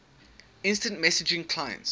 instant messaging clients